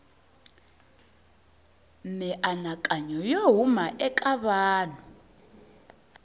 mianakanyo yo huma eka vanhu